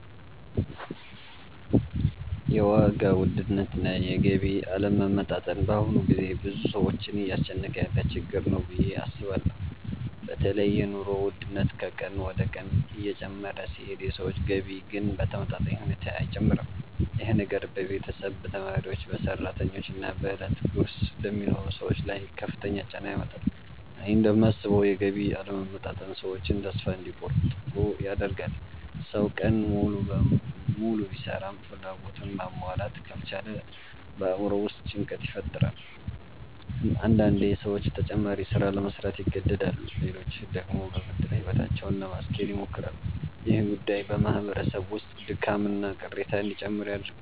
የዋጋ ውድነትና የገቢ አለመመጣጠን በአሁኑ ጊዜ ብዙ ሰዎችን እያስጨነቀ ያለ ችግር ነው ብዬ አስባለሁ። በተለይ የኑሮ ውድነት ከቀን ወደ ቀን እየጨመረ ሲሄድ የሰዎች ገቢ ግን በተመጣጣኝ ሁኔታ አይጨምርም። ይህ ነገር በቤተሰብ፣ በተማሪዎች፣ በሰራተኞች እና በዕለት ጉርስ ለሚኖሩ ሰዎች ላይ ከፍተኛ ጫና ያመጣል። እኔ እንደማስበው የገቢ አለመመጣጠን ሰዎችን ተስፋ እንዲቆርጡ ያደርጋል። ሰው ቀን ሙሉ ቢሰራም ፍላጎቱን ማሟላት ካልቻለ በአእምሮው ውስጥ ጭንቀት ይፈጠራል። አንዳንዴ ሰዎች ተጨማሪ ሥራ ለመሥራት ይገደዳሉ፣ ሌሎች ደግሞ በብድር ሕይወታቸውን ለማስኬድ ይሞክራሉ። ይህ ጉዳይ በማህበረሰብ ውስጥ ድካምና ቅሬታ እንዲጨምር ያደርጋል።